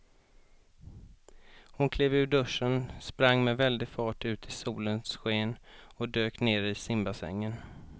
Hon klev ur duschen, sprang med väldig fart ut i solens sken och dök ner i simbassängen.